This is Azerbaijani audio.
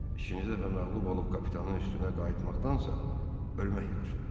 İkinci dəfə məğlub olub kapitanın üstünə qayıtmaqdansa, ölmək yaxşıdır.